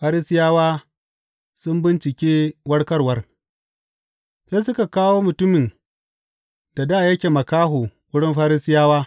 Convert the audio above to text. Farisiyawa sun bincike warkarwar Sai suka kawo mutumin da dā yake makaho wurin Farisiyawa.